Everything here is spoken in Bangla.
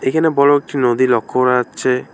এইখানে বড় একটি নদী লক্ষ্য করা যাচ্ছে।